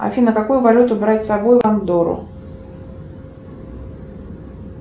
афина какую валюту брать с собой в андорру